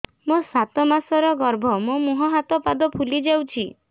ମୋ ସାତ ମାସର ଗର୍ଭ ମୋ ମୁହଁ ହାତ ପାଦ ଫୁଲି ଯାଉଛି